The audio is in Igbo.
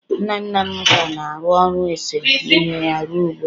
nna nna m ka na-arụ ọrụ ese ihe ya ruo ugbu a